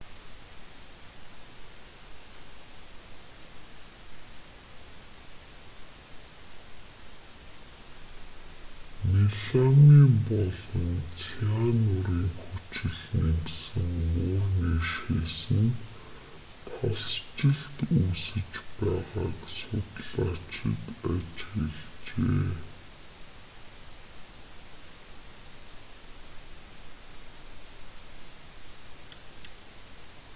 меламин болон цианурын хүчил нэмсэн муурны шээсэнд талстжилт үүсэж байгааг судлаачид ажиглажээ